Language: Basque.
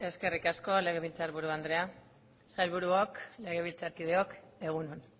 eskerrik asko legebiltzarburu andrea sailburuok legebiltzarkideok egun on